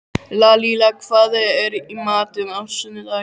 Lalíla, hvað er í matinn á sunnudaginn?